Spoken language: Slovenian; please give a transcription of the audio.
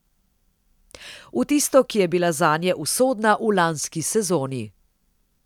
V tisto, ki je bila zanje usodna v lanski sezoni.